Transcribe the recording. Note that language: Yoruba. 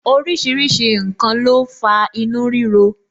Orísìírísìí n kan ló ń fa inú rírọ